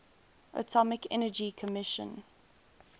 atomic energy commission